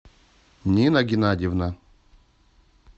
нина геннадьевна